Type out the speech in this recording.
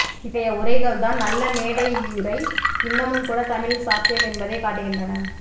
இத்தகைய உரைகள்தான் நல்ல மேடையுரை இன்னமும்கூட தமிழில் சாத்தியம் என்பதைக் காட்டுகின்றன